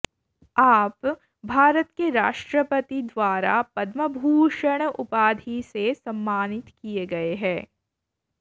आप भारत के राष्ट्रपति द्वारा पदम्भूषण उपाधि से सम्मानित किये गये है